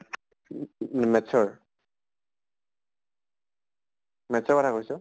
উহু maths ৰ? maths ৰ কথা কৈছʼ?